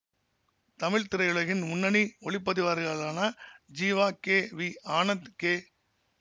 தமிழ் திரையுலகின் முன்னணி ஒளிப்பதிவாளர்களான Jeeva K V Anand K